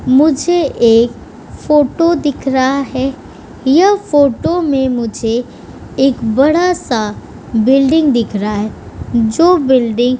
मुझे एक फोटो दिख रहा है यह फोटो में मुझे एक बड़ा-सा बिल्डिंग दिख रहा है जो बिल्डिंग --